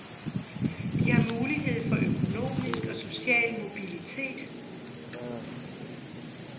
De har mulighed for økonomisk og social mobilitet.